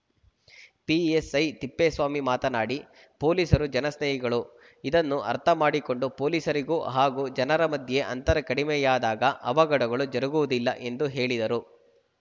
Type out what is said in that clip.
PSI Tippeswamy ಮಾತನಾಡಿ ಪೊಲೀಸರು ಜನಸ್ನೇಹಿಗಳು ಇದನ್ನು ಅರ್ಥ ಮಾಡಿಕೊಂಡು ಪೊಲೀಸರಿಗೂ ಹಾಗೂ ಜನರ ಮಧ್ಯ ಅಂತರ ಕಡಿಮೆಯಾದಾಗ ಅವಘಡಗಳು ಜರುಗುವುದಿಲ್ಲ ಎಂದು ಹೇಳಿದರು